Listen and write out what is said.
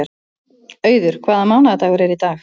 Auður, hvaða mánaðardagur er í dag?